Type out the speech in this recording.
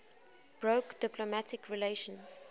broke diplomatic relations